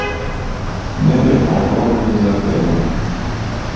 Ne, je pa ogromno dezerterjev.